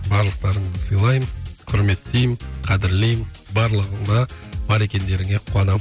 барлықтарыңды сыйлаймын құрметтеймін қадірлеймін барлығыңа бар екендеріңе қуанамын